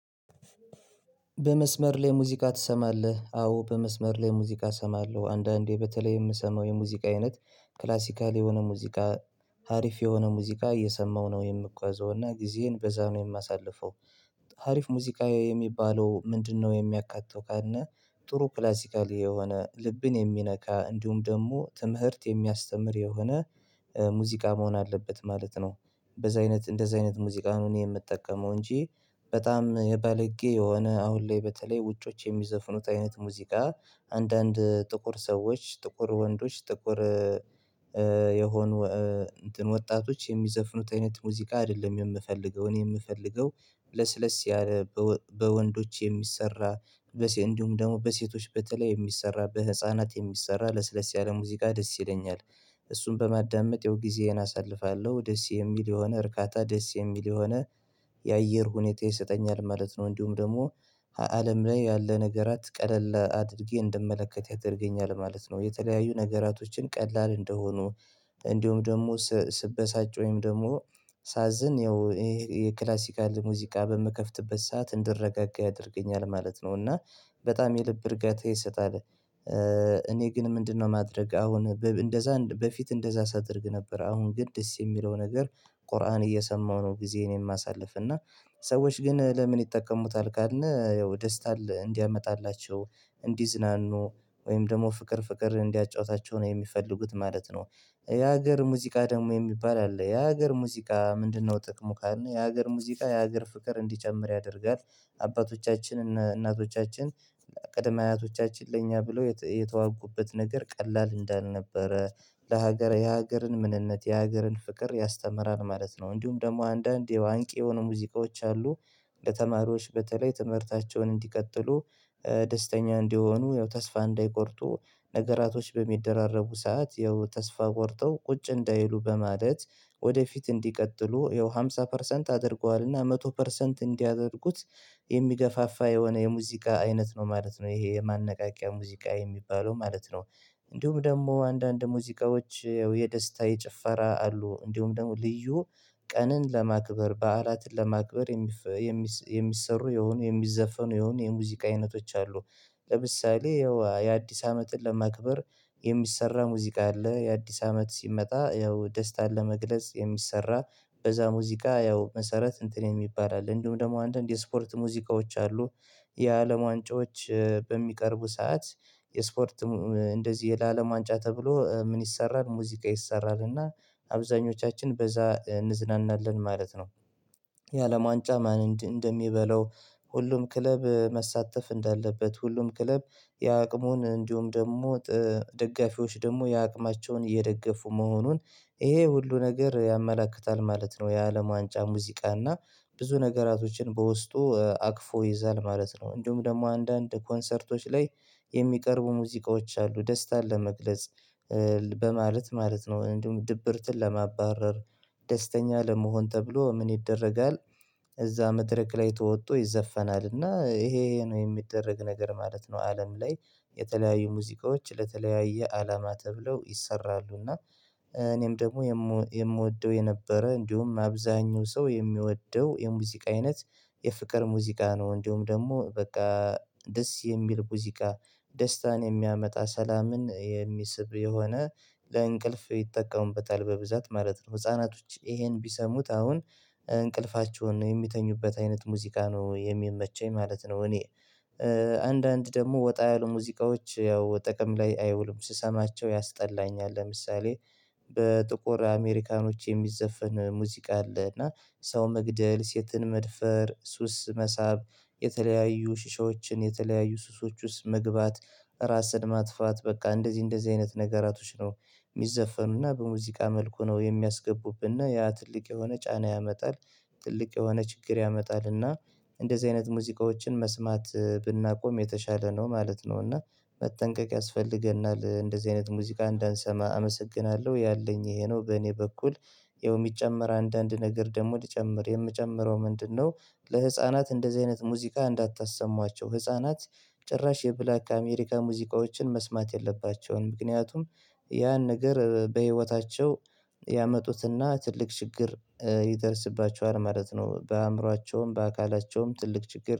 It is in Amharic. በመስመር ላይ ሙዚቃ ትሰማለህ? አዎ በመስመር ላይ ሙዚቃ እሰማለሁ አንዳንዴ በተለይ የምሰማው የሙዚቃ አይነት ክላሲካል የሆነ ሙዚቃ አሪፍ የሆነ ሙዚቃ እየሰማው ነው የምጓዘው እና ጊዜዬን በዛ ነው የማሳልፈው አሪፍ ሙዚቃ የሚባለው ምንድነው የሚያካትተው ካልነ ጥሩ ክላሲካሊ የሆነ ልብን የሚነካ እንዲሁም ደግሞ ትምህርት የሚያስተምር የሆነ ሙዚቃ መሆን አለበት ማለት ነው በዛ አይነት እንደዛ አይነት ሙዚቃ ነው እኔ የምጠቀመው እንጂ በጣም የባለጌ የሆነ አሁን ላይ በተለይ ውጮች የሚዘፍኑት አይነት ሙዚቃ አንዳንድ ጥቁር ሰዎች ጥቁር ወንዶች ጥቁር የሆኑ እንትን ወጣቶች የሚዘፍኑት አይነት ሙዚቃ አይደለም የምፈልገው እኔ የምፈልገው ለስለስ ያለ በወንዶች የሚሰራ እንዲሁም ደግሞ በሴቶች በተለይ የሚሰራ በህፃናት የሚሰራ ለስለስ ያለ ሙዚቃ ደስ ይለኛል እሱን በማዳመጥ ያው ጊዜዬን አሳልፋለሁ ደስ የሚል የሆነ እርካታ ደስ የሚል የሆነ የአየር ሁኔታ ይሰጠኛል ማለት ነው እንዲሁም ደግሞ አለም ላይ ያለ ነገራት ቀለል አድርጌ እንደምመለከት ያደርገኛል ማለት ነው የተለያዩ ነገራቶችን ቀላል እንደሆኑ እንዲሁም ደግሞ ስበሳጭ ወይም ደግሞ ሳዝን ያው ይሄ የክላሲካል ሙዚቃ በምከፍትበት ሰዓት እንድረጋጋ ያደርገኛል ማለት ነው እና በጣም የልብ እርጋታ ይሰጣል እኔ ግን ምንድነው ማድረግ አሁን እንደዛ በፊት እንደዛ ሳደርግ ነበር አሁን ግን ደስ የሚለው ነገር ቁርአን እየሰማሁ ነው ጊዜዬን የማሳልፍ እና ሰዎች ግን ለምን ይጠቀሙታል ካልነ ያው ደስታ እንዲያመጣላቸው እንዲዝናኑ ወይም ደግሞ ፍቅር ፍቅር እንዲያጫውታቸው ነው የሚፈልጉት ማለት ነው የሀገር ሙዚቃ ደግሞ የሚባል አለ የሀገር ሙዚቃ ምንድነው ጥቅሙ ካልነ የሀገር ሙዚቃ የሀገር ፍቅር እንዲጨምር ያደርጋል አባቶቻችን እና እናቶቻችን ቅድመ አያቶቻችን ለኛ ብሎ የተዋጉበት ነገር ቀላል እንዳልነበረ ለሀገር የሀገርን ምንነት የሀገርን ፍቅር ያስተምራል ማለት ነው እንዲሁም ደግሞ አንዳንድ ያው አንቂ የሆኑ ሙዚቃዎች አሉ ለተማሪዎች በተለይ ትምህርታቸውን እንዲቀጥሉ ደስተኛ እንዲሆኑ ያው ተስፋ እንዳይቆርጡ ነገራቶች በሚደራረቡ ሰዓት ያው ተስፋ ቆርጠው ቁጭ እንዳይሉ በማለት ወደፊት እንዲቀጥሉ ያው ሃምሳ ፐርሰንት አድርገዋልና መቶ ፐርሰንት እንዲያደርጉት የሚገፋፋ የሆነ የሙዚቃ አይነት ነው ማለት ነው ይሄ የማነቃቂያ ሙዚቃ የሚባለው ማለት ነው እንዲሁም ደግሞ አንዳንድ ሙዚቃዎች ያው የደስታ የጭፈራ አሉ እንዲሁም ደግሞ ልዩ ቀንን ለማክበር በዓላትን ለማክበር የሚሰሩ የሆኑ የሚዘፈኑ የሆኑ የሙዚቃ አይነቶች አሉ ለምሳሌ ያው የአዲስ አመትን ለማክበር የሚሰራ ሙዚቃ አለ የአዲስ አመት ሲመጣ ያው ደስታን ለመግለጽ የሚሰራ በዛ ሙዚቃ ያው መሰረት እንትን የሚባል አለ እንዲሁ ደግሞ አንዳንድ የስፖርት ሙዚቃዎች አሉ የአለም ዋንጫዎች በሚቀርቡ ሰዓት የስፖርት እንደዚህ ለአለም ዋንጫ ተብሎ ምን ይሰራል ሙዚቃ ይሰራል እና አብዛኞቻችን በዛ እንዝናናለን ማለት ነው የአለም ዋንጫ ማን እንደሚበላው ሁሉም ክለብ መሳተፍ እንዳለበት ሁሉም ክለብ የአቅሙን እንዲሁም ደግሞ ደጋፊዎች ደግሞ የአቅማቸውን እየደገፉ መሆኑን ይሄ ሁሉ ነገር ያመላክታል ማለት ነው የአለም ዋንጫ ሙዚቃ እና ብዙ ነገራቶችን በውስጡ አቅፎ ይይዛል ማለት ነው እንዲሁም ደግሞ አንዳንድ ኮንሰርቶች ላይ የሚቀርቡ ሙዚቃዎች አሉ ደስታን ለመግለጽ በማለት ማለት ነው እንዲሁም ድብርትን ለማባረር ደስተኛ ለመሆን ተብሎ ምን ይደረጋል እዛ መድረክ ላይ ተወጦ ይዘፈናልና ይሄ ይሄ ነው የሚደረግ ነገር ማለት ነው አለም ላይ የተለያዩ ሙዚቃዎች ለተለያየ አላማ ተብለው ይሰራሉ እና እኔም ደግሞ የምወደው የነበረ እንዲሁም አብዛኛው ሰው የሚወደው የሙዚቃ አይነት የፍቅር ሙዚቃ ነው እንዲሁም ደግሞ በቃ ደስ የሚል ሙዚቃ ደስታን የሚያመጣ ሰላምን የሚስብ የሆነ ለእንቅልፍ ይጠቀሙበታል በብዛት ማለት ነው ህፃናቶች ይሄን ቢሰሙት አሁን እንቅልፋቸውን ነው የሚተኙበት አይነት ሙዚቃ ነው የሚመቸኝ ማለት ነው እኔ አንዳንድ ደግሞ ወጣ ያሉ ሙዚቃዎች ያው ጥቅም ላይ አይውሉም ስሰማቸው ያስጠላኛል ለምሳሌ በጥቁር አሜሪካኖች የሚዘፈን ሙዚቃ አለ እና ሰው መግደል ሴትን መድፈር ሱስ መሳብ የተለያዩ ሽሻዎችን የተለያዩ ሱሶች ውስጥ መግባት ራስን ማጥፋት በቃ እንደዚህ እንደዚህ አይነት ነገራቶች ነው የሚዘፈኑና በሙዚቃ መልኩ ነው የሚያስገቡብነ ያ ትልቅ የሆነ ጫና ያመጣል ትልቅ የሆነ ችግር ያመጣልና እንደዚህ አይነት ሙዚቃዎችን መስማት ብናቆም የተሻለ ነው ማለት ነው እና መጠንቀቅ ያስፈልገናል እንደዚህ አይነት ሙዚቃ እንዳንሰማ አመሰግናለሁ ያለኝ ይሄ ነው በእኔ በኩል ያው የሚጨመር አንዳንድ ነገር ደግሞ ልጨምር የምጨምረው ምንድነው ለህፃናት እንደዚህ አይነት ሙዚቃ እንዳታሰሟቸው ህፃናት ጭራሽ የብላክ አሜሪካ ሙዚቃዎችን መስማት የለባቸውም ምክንያቱም ያን ነገር በህይወታቸው ያመጡትና ትልቅ ችግር ይደርስባቸዋል ማለት ነው በአእምሯቸውም በአካላቸውም ትልቅ ችግር